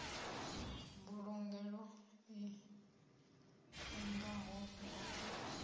mbulugelo i kungaho na u